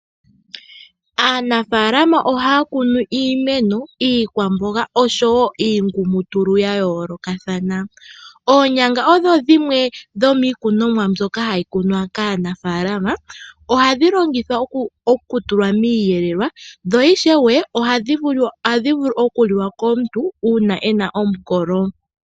Aanafaalama oha ya kunu iimeno, iikwamboga osho wo iingumutulu ya yoolokathana. Oonyanga odho shimwe dhomiikunimwa mboka ha yi kunwa kaanafaalama. Oha dhi longithawa okutulwa miiyelelwa, dho oha dhi vulu okuliwa komuntu uuna e na omukolo.